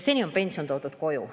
Seni on pension koju toodud.